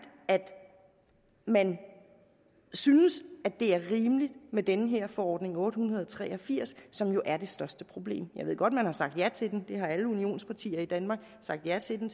at man synes at det er rimeligt med den her forordning otte hundrede og tre og firs som jo er det største problem jeg ved godt at man har sagt ja til den det har alle unionspartierne i danmark sagt ja til den